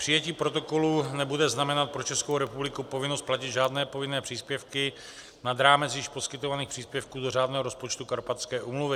Přijetí protokolu nebude znamenat pro Českou republiku povinnost platit žádné povinné příspěvky nad rámec již poskytovaných příspěvků do řádného rozpočtu Karpatské úmluvy.